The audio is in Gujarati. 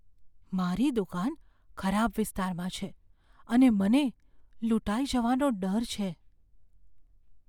મારી દુકાન ખરાબ વિસ્તારમાં છે અને મને લૂંટાઈ જવાનો ડર છે.